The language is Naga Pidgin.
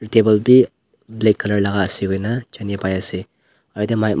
Table beh black colour laka ase koina jane pai ase aro yate my ma--